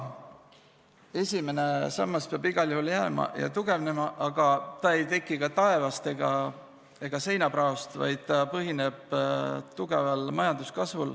Esimene sammas peab igal juhul jääma ja tugevnema, aga ta ei teki ka taevast ega seinapraost, vaid põhineb tugeval majanduskasvul.